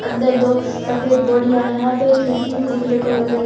अंदर दो सफेद बोरिया यहां पे एक खिड़की भी देखने को मिल रही --